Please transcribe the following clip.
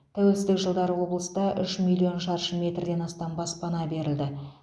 тәуелсіздік жылдары облыста үш миллион шаршы метрден астам баспана берілді